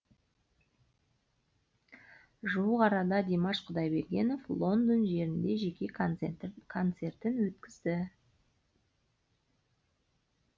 жуық арада димаш құдайбергенов лондон жерінде жеке концертін өткізді